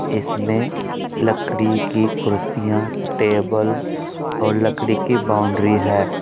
इसमें लकड़ी की कुर्सियां टेबल और लकड़ी की बाउंड्री है।